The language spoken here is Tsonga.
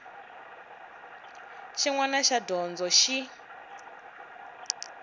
xin wana xa dyondzo xi